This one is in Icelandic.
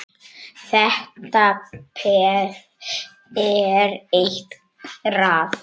Þetta peð er eitrað.